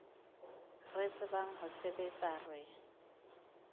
re tsebang ho sebetsa re